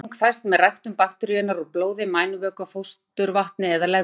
Greining fæst með ræktun bakteríunnar úr blóði, mænuvökva, fósturvatni eða legköku.